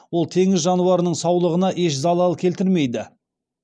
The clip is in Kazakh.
ол теңіз жануарының саулығына еш залал келтірмейді